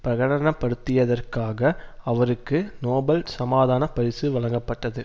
பிரகடனப்படுத்தியதற்காக அவருக்கு நோபல் சமாதான பரிசு வழங்கப்பட்டது